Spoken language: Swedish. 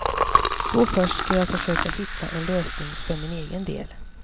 Då först ska jag försöka hitta en lösning för min egen del.